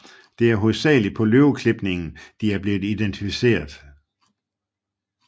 Det er hovedsageligt på løveklipningen de er blev identificeret